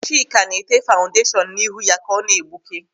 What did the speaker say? Chika na-ete faụdashọn n'ihu ya ka ọ na-egbuke.